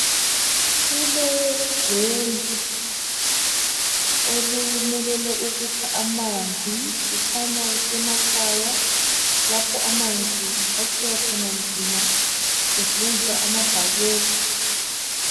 Kulodwendwe olumelele ukukha amanzi. Kukhanya kusemakhaya lapho amanzi akhiwa khona nzima besebenzisa amabhakede.